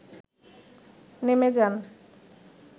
নেমে যান